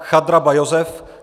Chadraba Josef